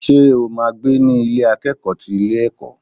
Ṣo ma gbé ní Ilé akẹ́kọ̀ọ́ ti ilé ẹ̀kọ́?